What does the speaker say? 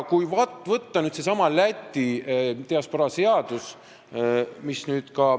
Võtame nüüd selle Läti diasporaa seaduse.